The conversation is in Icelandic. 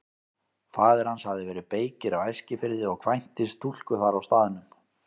Faðir hans hafði verið beykir á Eskifirði og kvæntist stúlku þar á staðnum.